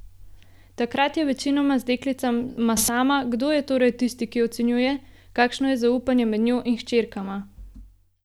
Takrat je večinoma z deklicama sama, kdo je torej tisti, ki ocenjuje kakšno je zaupanje med njo in hčerkama?